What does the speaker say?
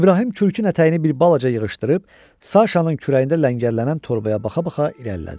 İbrahim Külkün ətəyini bir balaca yığışdırıb, Saşanın kürəyində ləngərlənən torbaya baxa-baxa irəlilədi.